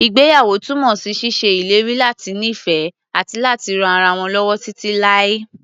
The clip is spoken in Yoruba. Ìgbéyàwó túnmọ̀ sí ṣíṣe ìlérí láti nífẹ̀ẹ́, àti láti ran ara wọn lọ́wọ́ títí láé.